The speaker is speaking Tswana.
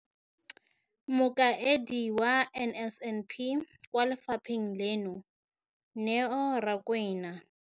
Mokaedi wa NSNP kwa lefapheng leno, Neo Rakwena,